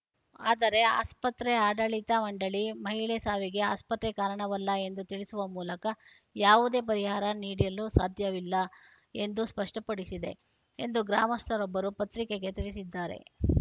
ಆದರೆ ಆಸ್ಪತ್ರೆ ಆಡಳಿತ ಮಂಡಳಿ ಮಹಿಳೆ ಸಾವಿಗೆ ಆಸ್ಪತ್ರೆ ಕಾರಣವಲ್ಲ ಎಂದು ತಿಳಿಸುವ ಮೂಲಕ ಯಾವುದೇ ಪರಿಹಾರ ನೀಡಿಲು ಸಾಧ್ಯವಿಲ್ಲ ಎಂದು ಸ್ಪಷ್ಟಪಡಿಸಿದೆ ಎಂದು ಗ್ರಾಮಸ್ಥರೊಬ್ಬರು ಪತ್ರಿಕೆಗೆ ತಿಳಿಸಿದ್ದಾರೆ